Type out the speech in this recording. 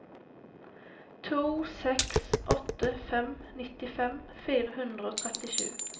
to seks åtte fem nittifem fire hundre og trettisju